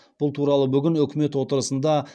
бұл туралы бүгін үкімет отырысында